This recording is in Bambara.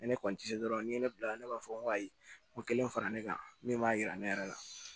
Ne kɔni ti se dɔrɔn ni ne bilara ne b'a fɔ n ko ayi n ko kelen fara ne kan min b'a yira ne yɛrɛ la